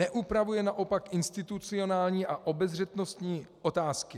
Neupravuje naopak institucionální a obezřetnostní otázky.